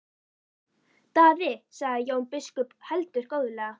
Daði, sagði Jón biskup og heldur góðlega.